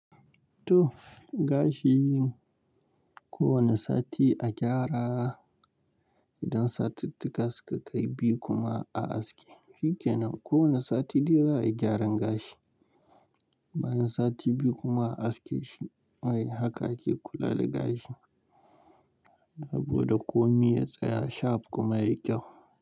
To gashi yin kowane sati a gyara idan satittuka suka kai biyu kuma a aske. Shike nan kowane sati dai za a yi gyaran gashi. Bayan sati biyu kuma a aske shi. Wai haka ake kula da gashi. Saboda komai ya tsaya, shap kuma ya yi kyau.